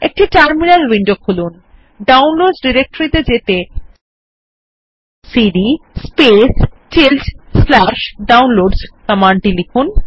একটি terminal window খুলুন এবং ডাউনলোডসহ ডিরেকটরি ত়ে যেতে সিডি Downloads কমান্ড লিখুন